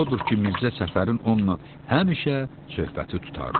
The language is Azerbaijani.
Odur ki, Mirzə Səfərin onunla həmişə söhbəti tutardı.